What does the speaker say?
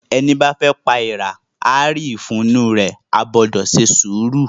Ẹní bá rọ'ra pa èèrà, á rí ìfun inú u rẹ̀. O gbúdọ̀ se sùúrù!